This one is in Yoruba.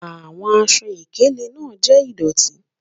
Awọn àṣọ-ìkèlè naa jẹ́ ìdọ̀tì